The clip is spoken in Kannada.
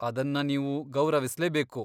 ಅದನ್ನ ನೀವು ಗೌರವಿಸ್ಲೇಬೇಕು.